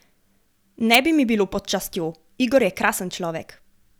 Ne bi mi bilo pod častjo, Igor je krasen človek.